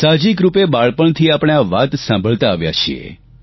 સાહજિક રૂપે બાળપણથી આપણે આ વાત સાંભળતા આવ્યાં છીએ